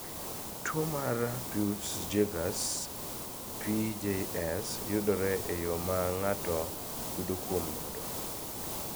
Tuo mar Peutz Jeghers (PJS) yudore e yo ma ng�ato yudo kuom nyodo.